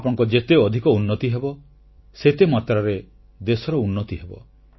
ଆପଣଙ୍କ ଯେତେ ଅଧିକ ଉନ୍ନତି ହେବ ସେତେମାତ୍ରାରେ ଦେଶର ଉନ୍ନତି ହେବ